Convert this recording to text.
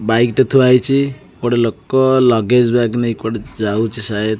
Bike ଟେ ଥୁଆ ହେଇଚି ଗୋଟେ ଲୋକ ଲଗେଜ୍ ବ୍ୟଗ୍ ନେଇ କୁଆଡେ ଯାଉଚି ।